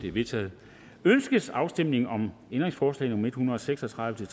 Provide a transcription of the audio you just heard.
er vedtaget ønskes afstemning om ændringsforslag nummer en hundrede og seks og tredive til